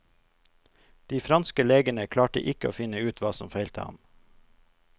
De franske legene klarte ikke å finne ut hva som feilte ham.